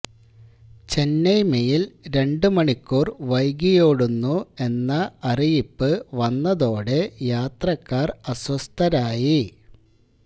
Chennai mail രണ്ടു മണിക്കൂര് വൈകിയോടുന്നു എന്ന അറിയിപ്പ് വന്നതോടെ യാത്രക്കാര് അസ്വസ്ഥരായി